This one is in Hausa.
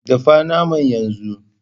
Dafa naman yanzu!